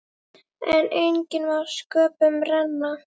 En enginn má sköpum renna.